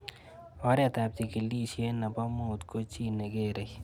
Oret ab chekilishet nepo mut ko chii ne kerei